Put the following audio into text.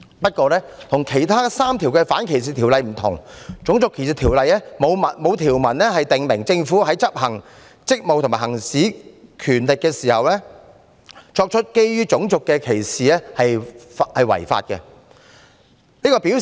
不過，跟其他3項反歧視條例不同的是，《種族歧視條例》沒有條文訂明，政府執行職務和行使權力時，作出基於種族的歧視是違法的。